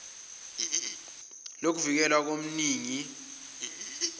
lokuvikelwa kweminining wane